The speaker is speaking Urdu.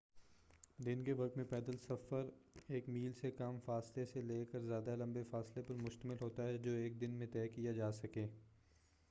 دن کے وقت میں پیدل سفر ایک میل سے کم فاصلے سے لے کر زیادہ لمبے فاصلے پر مشتمل ہوتا ہے جو ایک دن میں طے کیا جا سکے